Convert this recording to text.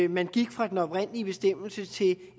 man gik fra den oprindelige bestemmelse til